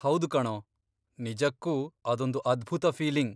ಹೌದು ಕಣೋ, ನಿಜಕ್ಕೂ ಅದೊಂದು ಅದ್ಭುತ ಫೀಲಿಂಗ್.